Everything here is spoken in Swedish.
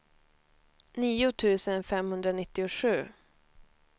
nio tusen femhundranittiosju